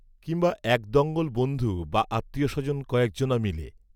কিংবা এক দঙ্গল বন্ধু বা আত্মীয়স্বজন কয়েকজনা মিলে